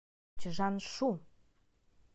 чжаншу